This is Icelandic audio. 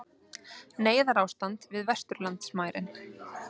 Neyðarástand við vesturlandamærin